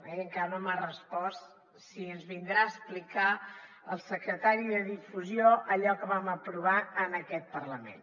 i encara no m’ha respost si ens vindrà a explicar el secretari de difusió allò que vam aprovar en aquest parlament